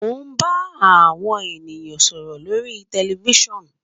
Mo ba awo ènìyàn sọrọ lórí tẹlifoonù